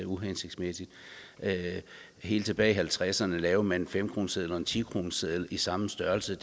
uhensigtsmæssigt helt tilbage i nitten halvtredserne lavede man en fem kroneseddel og en ti kroneseddel i samme størrelse